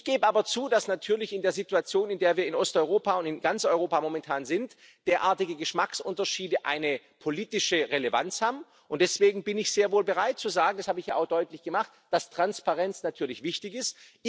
Ich gebe aber zu, dass in der Situation, in der wir in Osteuropa und in ganz Europa momentan sind, derartige Geschmacksunterschiede natürlich eine politische Relevanz haben, und deswegen bin ich sehr wohl bereit zu sagen das habe ich ja auch deutlich gemacht dass Transparenz wichtig ist.